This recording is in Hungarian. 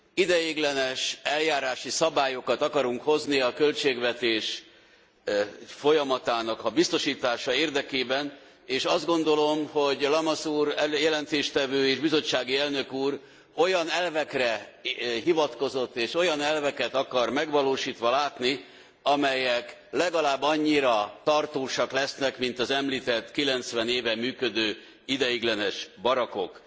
Ideiglenes eljárási szabályokat akarunk hozni a költségvetés folyamatának a biztosítása érdekében és azt gondolom, hogy Lamassoure jelentéstevő és bizottsági elnök úr olyan elvekre hivatkozott és olyan elveket akar megvalósítva látni, amelyek legalább annyira tartósak lesznek, mint az említett 90 éve működő ideiglenes barakkok.